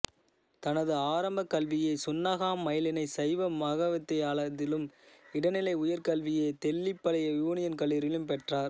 தனது ஆரம்பக் கல்வியை சுன்னாகம் மயிலணி சைவ மகாவித்தியாலயத்திலும் இடைநிலை உயர்கல்வியை தெல்லிப்பளை யூனியன் கல்லூரியிலும் பெற்றார்